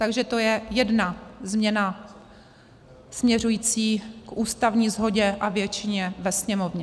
Takže to je jedna změna směřující k ústavní shodě a většině ve Sněmovně.